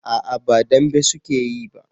a'a ba dambe su ke yi ba